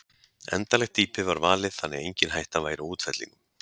Endanlegt dýpi var valið þannig að engin hætta væri á útfellingum.